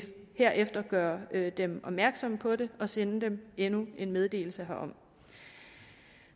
herefter gøre dem opmærksomme på det og sende dem endnu en meddelelse herom